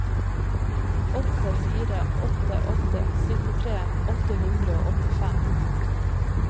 åtte fire åtte åtte syttitre åtte hundre og åttifem